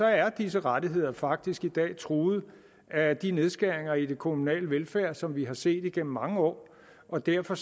er disse rettigheder faktisk i dag truet af de nedskæringer i den kommunale velfærd som vi har set igennem mange år og derfor